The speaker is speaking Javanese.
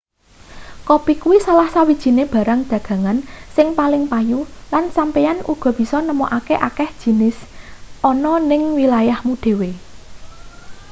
kopi kuwi salah sawijine barang dagangan sing paling payu lan sampeyan uga bisa nemokake akeh jinis ana ning wilayahmu dhewe